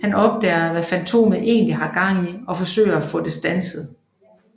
Han opdager hvad Fantomet egentlig har gang i og forsøger at få det standset